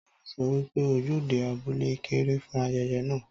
Táyò so wípé ojúde abúlé kéré fún ayẹyẹ náà